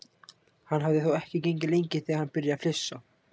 Hann hafði þó ekki gengið lengi þegar hann byrjaði að flissa.